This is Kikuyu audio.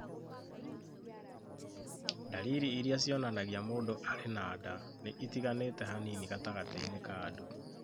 Ndariri irĩa cionanagia mũndũ arĩ na nda nĩ itiganĩte hanini gatagatiĩnĩ ka andũ.